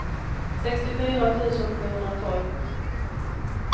sextiofyra tusen sjuhundratolv